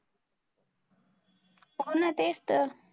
हो ना तेच तर.